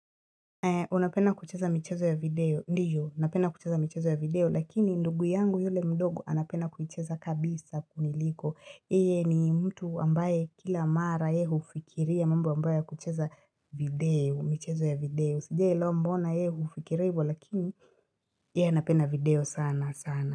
Unapenda kucheza michezo ya video, ndiyo, napenda kucheza michezo ya video, lakini ndugu yangu yule mdogo anapenda kucheza kabisa kuniliko. Yeye ni mtu ambaye kila mara yeye fikiria mambo ambayo kucheza video, michezo ya video. Sijui mbona yeye hufikiria hivyo lakini yeye anapenda video sana sana.